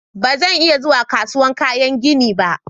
Ba zan iya zuwa kasuwar kayan gini ba.